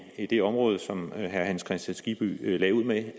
det område som herre hans kristian skibby lagde ud med